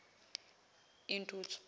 intuthu